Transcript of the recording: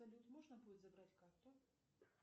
салют можно будет забрать карту